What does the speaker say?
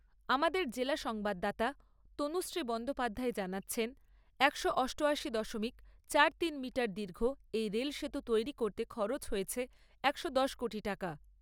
আমাদের জেলা সংবাদদাতা তনুশ্রী বন্দ্যোপাধ্যায় জানাচ্ছেন, একশ অষ্টআশি দশমিক চার তিন মিটার দীর্ঘ এই রেলসেতু তৈরি করতে খরচ হয়েছে একশো দশ কোটি টাকা।